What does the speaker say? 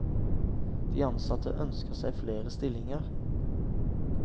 De ansatte ønsker seg flere stillinger.